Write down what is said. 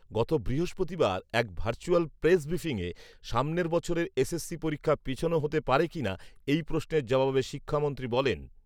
গত বৃহস্পতিবার এক ভার্চুয়াল প্রেস ব্রিফিংয়ে সামনের বছরের এসএসসি পরীক্ষা পেছানো হতে পারে কিনা এই প্রশ্নের জবাবে শিক্ষামন্ত্রী বলেন, ‘শিক্ষার্থীদের স্বাস্থ্যঝুঁকি আছে কিনা সেটি দেখবো